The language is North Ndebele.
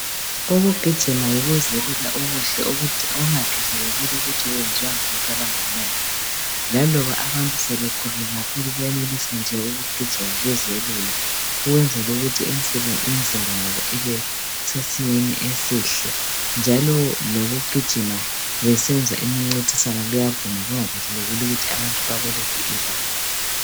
Ukugijima yikuzelula okuhle kungakhathalekile ukuthi kwenziwa ngabantu abangakanani. Laloba abantu sebekhulile kakhulu benelisa ukugijima bezelula ukwenzela ukuthi imzimba yabo ibesesimeni esihle njalo lokugijima besenza imincintiswano kuyavuma kungakhathalekile ukuthi abantu bakuliphi ibanga.